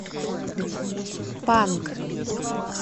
панк